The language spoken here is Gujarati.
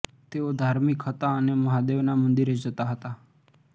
તેઓ ધાર્મિક હતા અને મહાદેવના મંદિરે જતા હતા